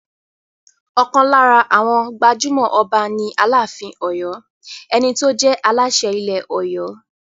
Ọ̀kan lára àwọn gbajúmọ̀ Ọba ni Aláàfin Ọ̀yọ́, ẹni tó jẹ́ Aláṣẹ ilẹ̀ Ọ̀yọ́.